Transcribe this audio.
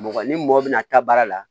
Mɔgɔ ni mɔgɔ bɛna taa baara la